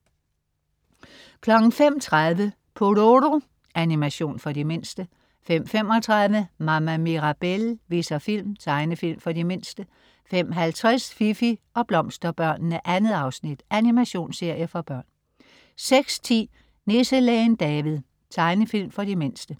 05.30 Pororo. Animation for de mindste 05.35 Mama Mirabelle viser film. Tegnefilm for de mindste 05.50 Fifi og Blomsterbørnene. 2. afsnit. Animationsserie for børn 06.10 Nisselægen David. Tegnefilm for de mindste